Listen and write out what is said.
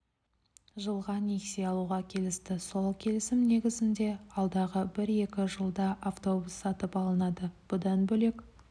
жылға несие алуға келісті сол келісім негізінде алдағы бір-екі жылда автобус сатып алынады бұдан бөлек